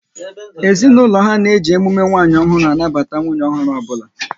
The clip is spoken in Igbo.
Ezinaụlọ ha na eji emume nwanyị ọhụrụ anabata nwunye ọhụrụ ọbụla